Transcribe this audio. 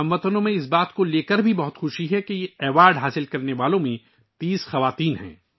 ہم وطن بھی اس بات سے بہت خوش ہیں کہ یہ اعزاز حاصل کرنے والوں میں 30 خواتین ہیں